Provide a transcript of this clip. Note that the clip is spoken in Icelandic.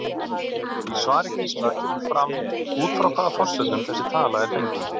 Í svari Gísla kemur fram út frá hvaða forsendum þessi tala er fengin.